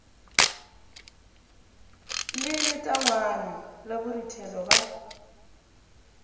le letangwana la boruthelo ba